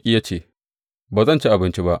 Ya ce, Ba zan ci abinci ba.